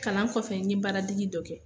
Kalan kɔfɛ n ye baaradege dɔ kɛ.